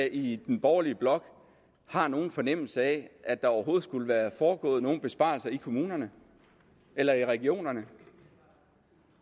i den borgerlige blok har nogen fornemmelse af at der skulle være foregået nogen besparelser i kommunerne eller i regionerne